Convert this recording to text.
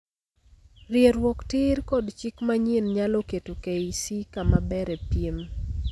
.Rieruok tiir kod chik manyien nyalo keto KEC kamaber e piem